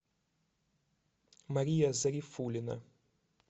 мария зарифуллина